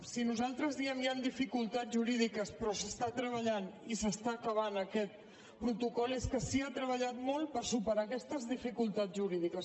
si nosaltres diem hi han dificultats jurídiques però s’està treballant i s’està acabant aquest protocol és que s’hi ha treballat molt per superar aquestes dificultats jurídiques